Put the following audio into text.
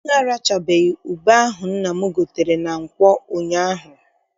Anyị arachabeghị ube ahụ nna m gotere na nkwọ ụnyaahụ.